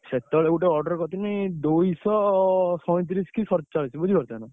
ସେତବେଳେ ଗୋଟେ order କରିଥିଲି ଦୁଇଶହ ସଇଁତିରିଶି କି ସଡଚାଳିଶି ବୁଝିପାରୁଛନା।